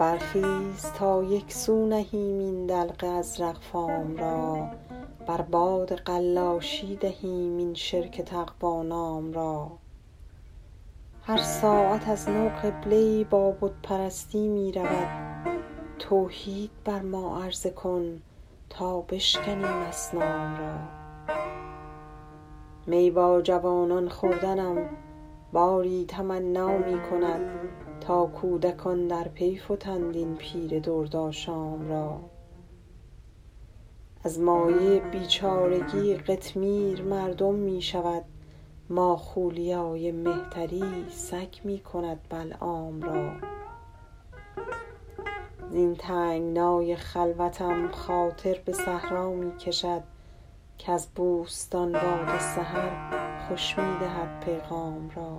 برخیز تا یک سو نهیم این دلق ازرق فام را بر باد قلاشی دهیم این شرک تقوا نام را هر ساعت از نو قبله ای با بت پرستی می رود توحید بر ما عرضه کن تا بشکنیم اصنام را می با جوانان خوردنم باری تمنا می کند تا کودکان در پی فتند این پیر دردآشام را از مایه بیچارگی قطمیر مردم می شود ماخولیای مهتری سگ می کند بلعام را زین تنگنای خلوتم خاطر به صحرا می کشد کز بوستان باد سحر خوش می دهد پیغام را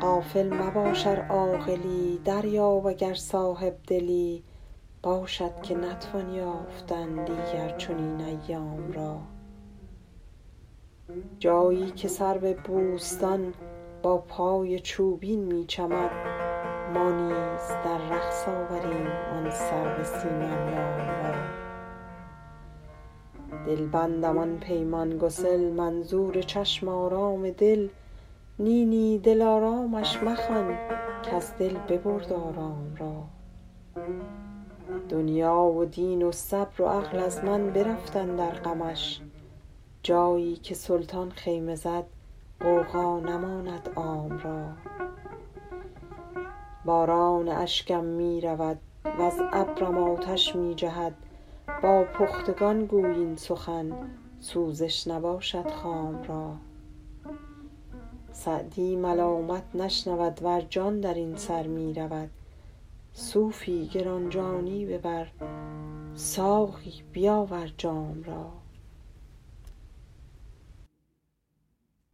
غافل مباش ار عاقلی دریاب اگر صاحب دلی باشد که نتوان یافتن دیگر چنین ایام را جایی که سرو بوستان با پای چوبین می چمد ما نیز در رقص آوریم آن سرو سیم اندام را دلبندم آن پیمان گسل منظور چشم آرام دل نی نی دلآرامش مخوان کز دل ببرد آرام را دنیا و دین و صبر و عقل از من برفت اندر غمش جایی که سلطان خیمه زد غوغا نماند عام را باران اشکم می رود وز ابرم آتش می جهد با پختگان گوی این سخن سوزش نباشد خام را سعدی ملامت نشنود ور جان در این سر می رود صوفی گران جانی ببر ساقی بیاور جام را